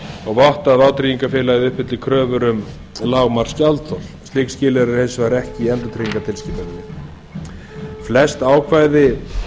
og votta að vátryggingafélagið uppfylli kröfur um lágmarksgjaldþol slík skilyrði eru hins vegar ekki í endurtryggingatilskipuninni flest ákvæði